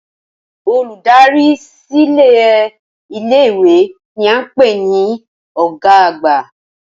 Olùdarí silẹ ilé ìwé ni a n pé ni ọ̀gá àgbà